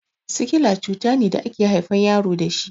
Sikila cutane da ake haifan yaro dashi